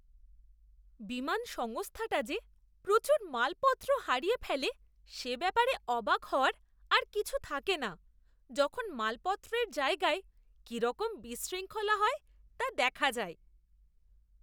বিমান সংস্থাটা যে প্রচুর মালপত্র হারিয়ে ফেলে সে ব্যাপারে অবাক হওয়ার আর কিছু থাকে না যখন মালপত্রের জায়গায় কীরকম বিশৃঙ্খলা হয় তা দেখা যায়।